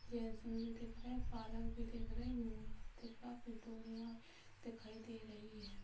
भी दिख रहा है पालक भी दिख रही है दिख रहा दिखाई दे रही है।